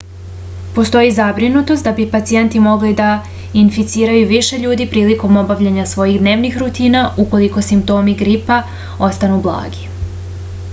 postoji zabrinutost da bi pacijenti mogli da inficiraju više ljudi prilikom obavljanja svojih dnevnih rutina ukoliko simptomi gripa ostanu blagi